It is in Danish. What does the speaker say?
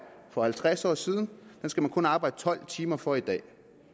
for halvtreds år siden skal man kun arbejde tolv timer for i dag